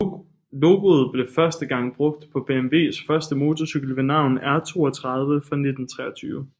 Logoet blev første gang brugt på BMWs første motorcykel ved navn R32 fra 1923